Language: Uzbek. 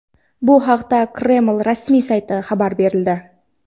Bu haqda Kreml rasmiy saytida xabar berildi.